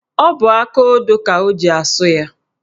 Ọ bụ akaodo ka o ji asụ ya.